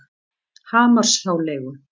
Hamarshjáleigu